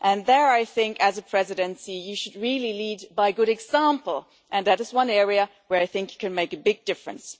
There, I think, as a presidency, you should really lead by good example, and that is one area where I think you can make a big difference.